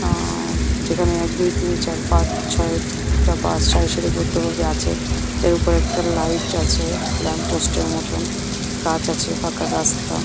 আ যেখানে এক দি তিন চার পাঁচ ছয় টা বাস সারি সারি পদ্দ ভাবে আছে যার উপরে একটা লাইট আছে ল্যাম্প পোস্ট এর মতন গাছ আছে ফাঁকা রাস্তা।